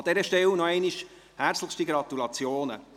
An dieser Stelle nochmals herzlichste Gratulation.